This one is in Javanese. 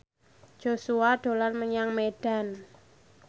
Joshua dolan menyang Medan